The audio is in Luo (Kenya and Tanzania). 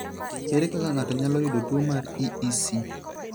Ere kaka ng'ato nyalo yudo tuo mar EEC?